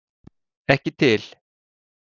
Ekki til!